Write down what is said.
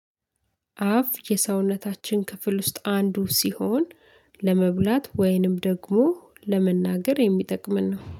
አፍ የሰውነታችን ክፍል ውስጥ አንዱ ሲሆን ለመብላት ወይንም ደግሞ ለመናገር የሚጠቅመን ነው